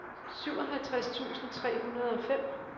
syvoghalvtreds tusind tre hundrede og fem